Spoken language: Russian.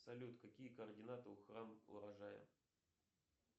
салют какие координаты у храм урожая